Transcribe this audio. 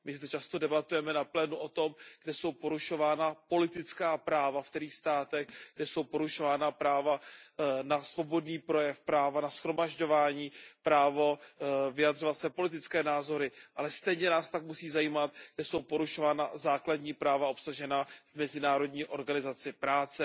My zde často debatujeme na plénu o tom, kde jsou porušována politická práva, v kterých státech, kde jsou porušována právo na svobodný projev, právo na shromažďování, právo vyjadřovat své politické názory, ale stejně tak nás musí zajímat, kde jsou porušována základní práva obsažená v Mezinárodní organizaci práce